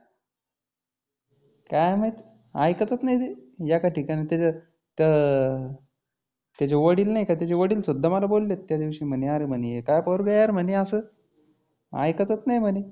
काय माहीत ऐकतच नाही ते. एका ठिकानी त्याच्या त त्याचे वडील नाही का त्याचे वडील सुद्धा मला बोललेत. त्या दिवशी म्हणी आरे म्हणी हे काय पोरगं आहे यार म्हणी असं? ऐकतच नाही म्हणी.